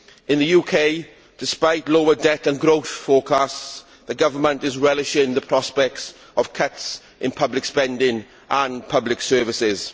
In the UK, despite lower debt and growth forecasts, the government is relishing the prospect of cuts in public spending and public services.